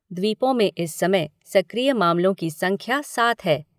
द्वीपों में इस समय सक्रिय मामलों की संख्या सात है।